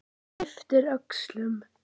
Ypptir öxlum.